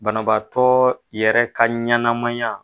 Banabaatɔ yɛrɛ ka ɲanamaya.